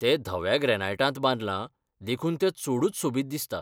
तें धव्या ग्रेनाइटांत बांदलां देखून तें चडूच सोबीत दिसता.